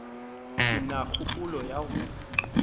ke na kgopolo ya go